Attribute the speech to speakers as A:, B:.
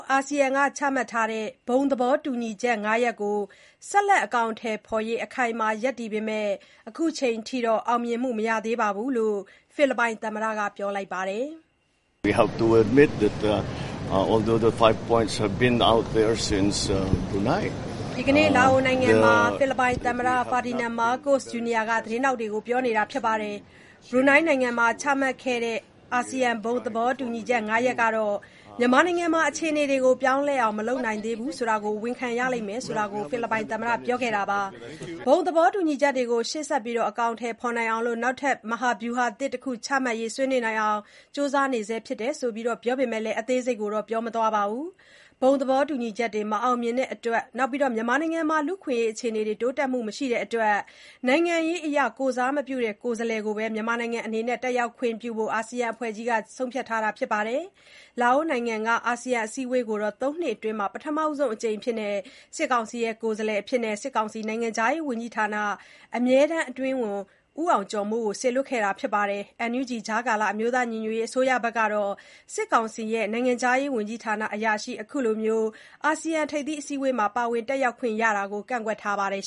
A: အာဆီယံက ချမှတ်ထားတဲ့ ဘုံသဘောတူညီချက် ၅ ရပ်ကို ဆက်လက် အကောင်အထည်ဖော်ရေး အခိုင်အမာ ရပ်တည်ပေမဲ့၊ အခုအချိန်အထိ အောင်မြင်မှု မရှိသေးကြောင်း ဖိလစ်ပိုင် သမ္မတက ပြောလိုက်ပါတယ်
B: ။ ဘ
A: ရူနိုင်းနိုင်ငံမှာ ချမှတ်ခဲ့တဲ့ ဘုံသဘောတူညီချက် ၅ ရပ်ဟာ မြန်မာနိုင်ငံမှာ အခြေအနေတွေ ပြောင်းလဲအောင် မလုပ်နိုင်သေးဘူး ဆိုတာကို ဝန်ခံရလိမ့်မယ်လို့ ဖိလစ်ပိုင်သမ္မတ Ferdinand Marcos Jr. က ဒီနေ့ လာအိုနိုင်ငံမှာ သတင်းထောက်တွေကို ပြောလိုက်တာပါ။ ဘုံသဘောတူညီချက်တွေ ရှေ့ဆက်အကောင်အထည်ဖေါ်နိုင်အောင် နောက်ထပ် မဟာဗျုဟာသစ်တခု ချမှတ်ရေး ဆွေးနွေးနိုင်အောင် ကြိုးစားနေဆဲဖြစ်တယ်လို့လည်း ပြောပေမဲ့ အသေးစိတ်ကိုတော့ မပြောပါဘူး။ ဘုံသဘောတူညီချက်တွေ မအောင်မြင်တာအပြင် လူ့အခွင့်အရေးအခြေအနေ တိုးတက်မှု မရှိတဲ့အတွက် နိုင်ငံရေးအရ ကိုယ်စားမပြုတဲ့ ကိုယ်စားလှယ်ကိုပဲ တက်ရောက်ခွင့်ပြုဖို့ အာဆီယံအဖွဲ့ကြီးက ဆုံးဖြတ်ထားပါတယ်။ လာအိုနိုင်ငံက အာဆီယံ အစည်းအဝေးကိုတော့ ၃ နှစ်အတွင်း ပထမဆုံးအကြိမ်အဖြစ် စစ်ကောင်စီက ကိုယ်စားလှယ်အဖြစ် နိုင်ငံခြားရေးဝန်ကြီးဌာန အမြဲတမ်းအတွင်းဝန် ဦးအောင်ကျော်မိုး ကို စေလွှတ်ခဲ့တာပါ။ NUG အမျိုးသားညီညွတ်ရေး အစိုးရကတော့ စစ်ကောင်စီ နိုင်ငံခြားရေးဝန်ကြီးဌာန အရာရှိတဦး အခုလို ထိပ်သီးအစည်းအဝေးမှာ ပါဝင်တက်ရောက်တာကို ကန့်ကွက်ထားပါတယ်